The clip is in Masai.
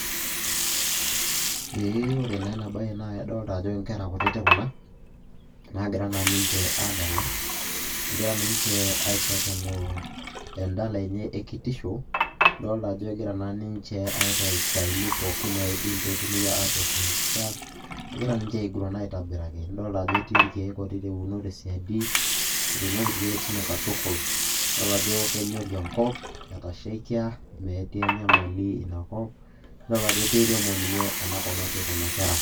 ee ore naa enabae naa kadoolta ajo inkera kutitik kuna, naagira naa ninche aadala. egira ninche aishakenoo edala enye ekitisho. idoolta ajo egira naa ninche aitayu istaaili pookin naaidim pee etumoki atoosh empisha. egira ninche aiguran aitobiraki, nidoolta ajo etii irkeek ouno te siadi, etuunoki irkeek teine katukul. idol ajo kenyori enkop. etashaikia, metii enyamali ina kop, idol ajo keiremo ninye ena kop natii kuna kera.